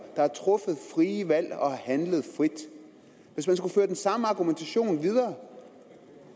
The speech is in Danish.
der har truffet frie valg og har handlet frit hvis man skulle føre den samme argumentation videre